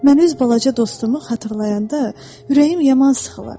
Mən öz balaca dostumu xatırlayanda ürəyim yaman sıxılır.